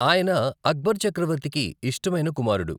ఆయన అక్బర్ చక్రవర్తికి ఇష్టమైన కుమారుడు.